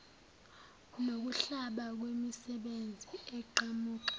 nokuhlaba kwemisebe eqhamuka